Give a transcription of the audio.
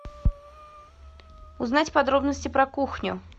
узнать подробности про кухню